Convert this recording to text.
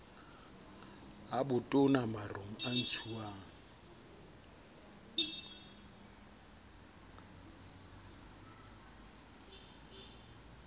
a botona marong a ntshuwang